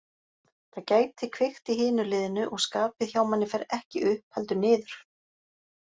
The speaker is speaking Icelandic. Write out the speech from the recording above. Það gæti kveikt í hinu liðinu og skapið hjá manni fer ekki upp heldur niður.